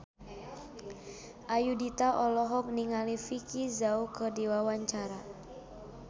Ayudhita olohok ningali Vicki Zao keur diwawancara